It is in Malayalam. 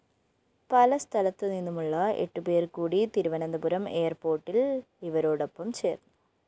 പല സ്ഥലത്തുനിന്നുമുള്ള എട്ടുപേര്‍കൂടി തിരുവനന്തപുരം എയര്‍പോര്‍ട്ടില്‍ ഇവരോടൊപ്പം ചേര്‍ന്നു